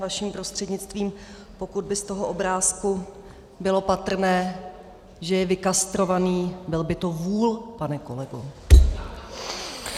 Vaším prostřednictvím - pokud by z toho obrázku bylo patrné, že je vykastrovaný, byl by to vůl, pane kolego.